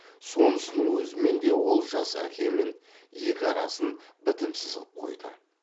сонысының өзімен де ол жас әкемен екі арасын бітімсіз қып қойды